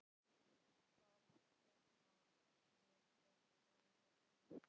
Það er svo gott að vera svona.